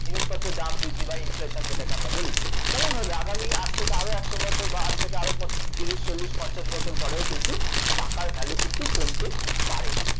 জিনিসপ্ত্রেই দাম বৃদ্ধি বা inflation যেটাকে আমরা বলি তেমনভাবে আগামী আজ থেকে আরও একশ বছর বা আজ থেকে আরও প তিশির চল্লিশ পঞ্চাশ বছর পরেও কিন্তু টাকার value কিন্তু কমতে পারে